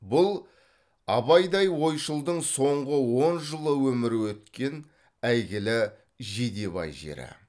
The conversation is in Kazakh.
бұл абайдай ойшылдың соңғы он жылы өмірі өткен әйгілі жидебай жері